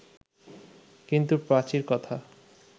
কিন্তু পাঁচীর কথা